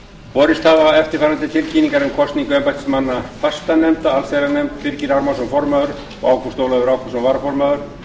borist hafa eftirfarandi tilkynningar um kosningu embættismanna fastanefnda allsherjarnefnd birgir ármannsson formaður og ágúst ólafur ágústsson varaformaður